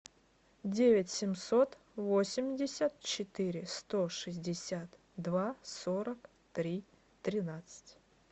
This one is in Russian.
девять семьсот восемьдесят четыре сто шестьдесят два сорок три тринадцать